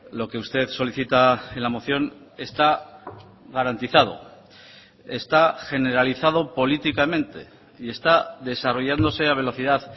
lo que usted solicita en la moción está garantizado está generalizado políticamente y está desarrollándose a velocidad